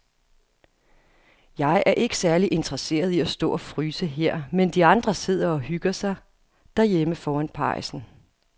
Jeg er ikke særlig interesseret i at stå og fryse her, mens de andre sidder og hygger sig derhjemme foran pejsen.